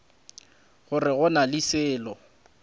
gore go na le selo